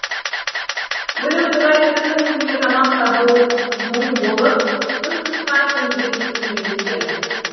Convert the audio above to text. өлік тұрғай тірінің өзіне тамақ табуы мұң болып тұс тұсқа тентіреп кетті емес пе